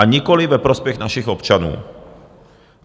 A nikoliv ve prospěch našich občanů.